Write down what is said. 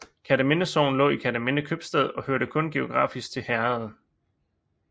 Kerteminde Sogn lå i Kerteminde Købstad og hørte kun geografisk til herredet